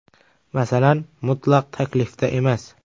Masala mutlaq taklifda emas.